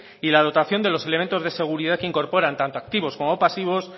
y la dotación de los elementos de seguridad que incorporan tanto activos como pasivos